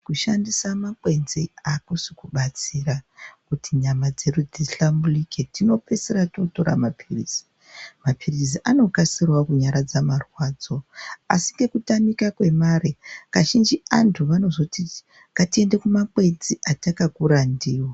Kushandisa makwenzi akusikudetsera kuti nyama dzedu dzihlamburuke. Tinopeisira tootore maphilizi. Maphilizi anokasirawo kunyaradza marwadzo asi, nekutamika kwemare, kazhinji anthu anozototi,"Ngatiende kumakwenzi atakakura ndiwo"